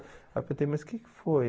Aí eu perguntei, mas o que foi?